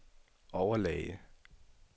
overlæge